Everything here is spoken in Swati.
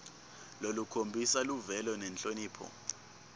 lolukhombisa luvelo nenhlonipho